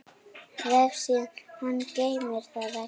Vefsíða hans geymir þann vefnað.